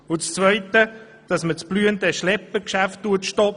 Als Zweites wird verlangt, das blühende Schleppergeschäft zu stoppen.